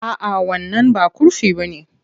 A'a, wannan ba kurfi bane.